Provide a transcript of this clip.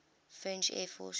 french air force